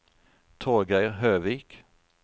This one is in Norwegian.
Torgeir Høvik